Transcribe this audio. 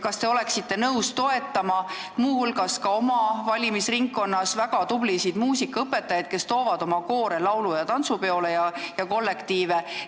Kas te oleksite nõus toetama muu hulgas ka oma valimisringkonna väga tublisid muusikaõpetajaid, kes toovad oma kollektiivid laulu- ja tantsupeole?